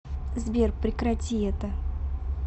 сбер прекрати это